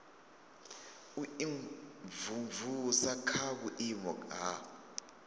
u imvumvusa kha vhuimo ha